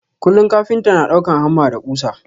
Kullum kafinta na ɗaukan hamma da ƙusa.